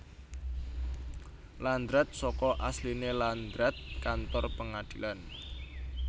Landrat saka asline landraat kantor pengadilan